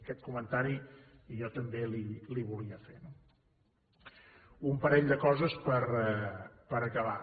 aquest comentari jo també el volia fer no un parell de coses per acabar